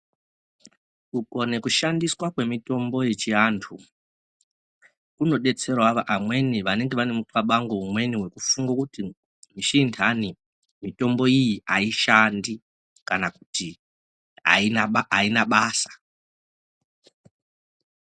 Kukone kushandiswa kwemitombo yechivantu kunobetseravo amweni vanenga vane mukabango amweni kufunge kuti chindani mitombo iyi haishandi, kana kuti haina basa.